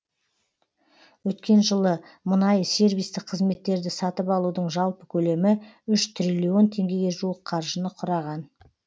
өткен жылы мұнай сервистік қызметтерді сатып алудың жалпы көлемі үш триллион теңгеге қаржыны құраған